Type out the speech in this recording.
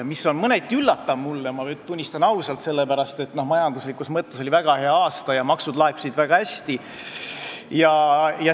See on mulle mõneti üllatav, ma tunnistan ausalt, sellepärast et majanduslikus mõttes oli 2018 väga hea aasta ja maksud laekusid väga hästi.